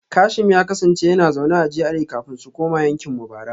Kashim ya kasance yana zaune a GRA kafin su koma yankin mu bara